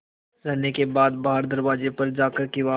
रहने के बाद बाहर दरवाजे पर जाकर किवाड़